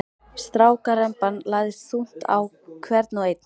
Strákaremban lagðist þungt á hvern og einn.